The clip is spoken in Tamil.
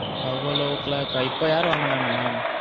Elevelo clock இப்போ யாரும் வர மாட்டாங்களா ma'am.